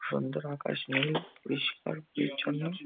সন্ধ্যার আকাশ নীল পরিষ্কার পরিছন্ন ।